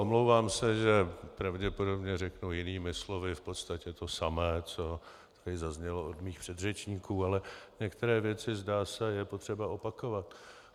Omlouvám se, že pravděpodobně řeknu jinými slovy v podstatě to samé, co tady zaznělo od mých předřečníků, ale některé věci, zdá se, je potřeba opakovat.